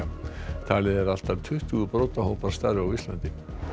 talið er að allt að tuttugu starfi á Íslandi